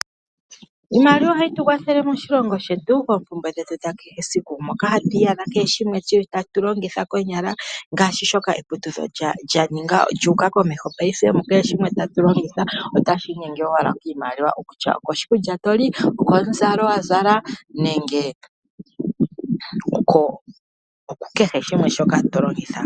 Iimaliwa ohayi tukwathele moshilongo shetu opo tu oompumbwe dhetu dhakehe esiku, moka hatu iyadha kehe shimwe taku longitha konyala ngaashi shoka eputuko lyu uka komeho mukehe shimwe tatu longitha otashi inyenge owala koshimaliwa kutya okoshikulya toli, okomuzalo wazala nenge oku kehe shimwe shoka tolongitha.